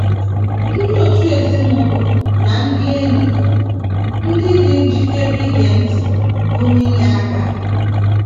Ndị òtù ezinụlọ na ndị enyi bụ́ ndị dị njikere ige ntị pụrụ inye aka.